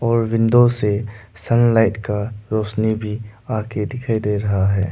और विंडो से सनलाइट का रौशनी भी आ के दिखाई दे रहा है।